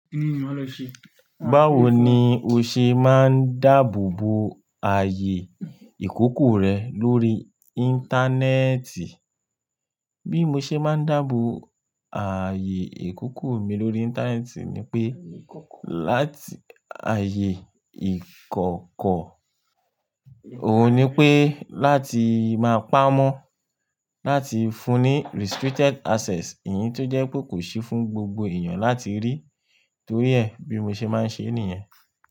Báwo ni o ṣe máa ń dáàbò bo ààyè ìkókó rẹ lórí Íńtánẹ́ẹ̀tì? Bí mo ṣe máa ń dáàbò ààyè ìkókó mi lórí Íńtánẹ́ẹ̀tì ni pé láti ààyè ìkọ̀kọ̀, òun ni pé láti máa pamọ́, láti fún ní restricted access, èyí tó jẹ́ pé kò sí fún gbogbo èèyàn láti rí, torí ẹ̀, bí mo ṣe máa ń ṣe nìyẹn.